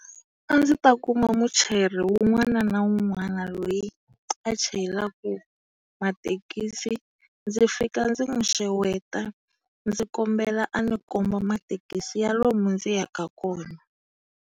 A ndzi ta kuma muchayeri wun'wana na wun'wana loyi a chayelaka mathekisi, ndzi fika ndzi n'wi xeweta, ndzi kombela a ndzi komba mathekisa ya lomu ndzi yaka kona.